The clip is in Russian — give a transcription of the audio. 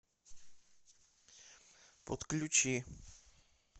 подключи